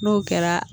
N'o kɛra